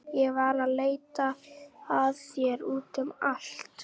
Ég var að leita að þér út um allt.